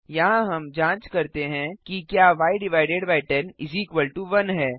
यहाँ हम जांच करते हैं कि क्या y101 है